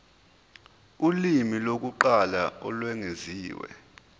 ulimi lokuqala olwengeziwe